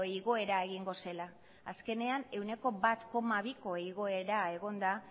igoera egingo zela azkenean ehuneko bat koma biko igoera egon da